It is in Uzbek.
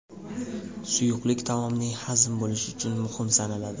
Suyuqlik taomning hazm bo‘lishi uchun muhim sanaladi.